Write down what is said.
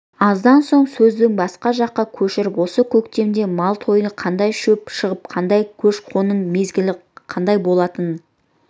аздан соң сөзді басқа жаққа көшіріп осы көктемде мал тойыны қандай шөп шығымы қандай көші-қонның мезгілі қандай болатынын